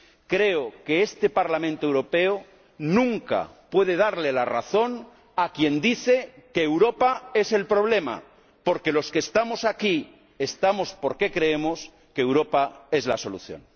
Creo que este Parlamento Europeo nunca puede darle la razón a quien dice que Europa es el problema, porque los que estamos aquí, estamos porque creemos que Europa es la solución.